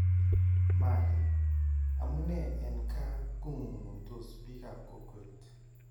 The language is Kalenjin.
Mali :Amunee en kaa , kong'unng'undos biikab kokweet